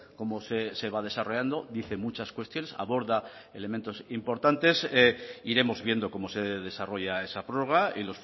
cómo se va desarrollando dice muchas cuestiones aborda elementos importantes iremos viendo cómo se desarrolla esa prórroga y